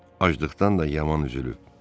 Acılıqdan da yaman üzülüb.